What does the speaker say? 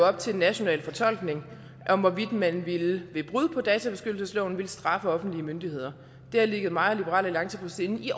op til national fortolkning hvorvidt man ved brud på databeskyttelsesloven ville straffe offentlige myndigheder det har ligget mig og liberal alliance på sinde i